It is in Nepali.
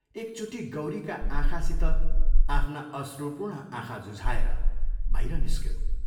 एकचोटि गौरीका आँखासित आफ्ना अश्रुपूर्ण आँखा जुझाएर बाहिर निस्क्यो।